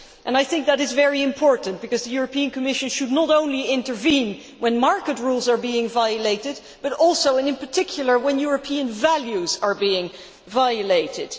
I think that is very important, because the European Commission should not only intervene when market rules are being violated but also, and in particular, when European values are being violated.